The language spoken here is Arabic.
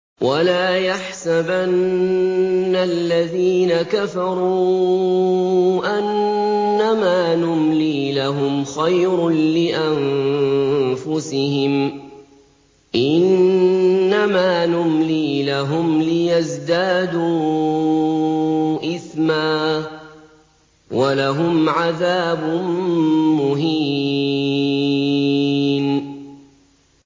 وَلَا يَحْسَبَنَّ الَّذِينَ كَفَرُوا أَنَّمَا نُمْلِي لَهُمْ خَيْرٌ لِّأَنفُسِهِمْ ۚ إِنَّمَا نُمْلِي لَهُمْ لِيَزْدَادُوا إِثْمًا ۚ وَلَهُمْ عَذَابٌ مُّهِينٌ